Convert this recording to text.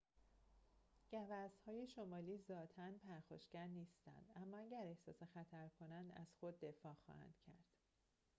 گوزن‌های شمالی ذاتاً پرخاشگر نیستند اما اگر احساس خطر کنند از خود دفاع خواهند کرد